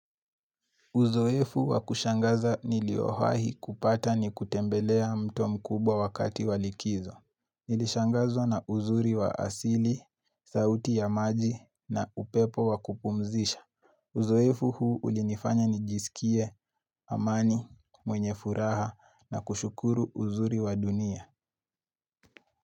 Uzoefu wakushangaza niliowahi kupata ni kutembelea mto mkubwa wakati walikizo. Nilishangazwa na uzuri wa asili, sauti ya maji na upepo wakupumzisha. Uzoefu huu ulinifanya nijisikie, amani, mwenye furaha na kushukuru uzuri wa dunia.